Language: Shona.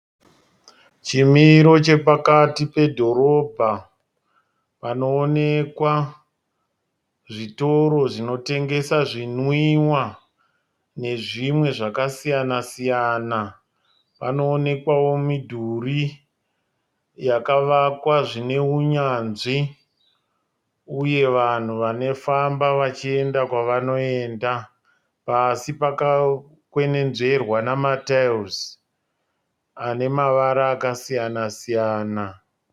Chimiro chepakati pedhorobha. Panoonekwa zvitoro zvinotengesa zvinwiwa nezvimwe zvaka siyana- siyana . Panoonekwawo midhurii yakavakwa zvine unyanzvi. Uye vanhu vanofamba vachienda kwavanoenda. Pasi pakakwenenzverwa nema taera ane mavara akasiyana- siyana .